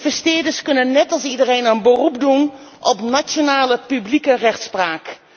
Investeerders kunnen net als iedereen een beroep doen op nationale publieke rechtspraak.